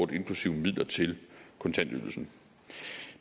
er inklusive midler til kontantydelsen